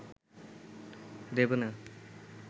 দেবে না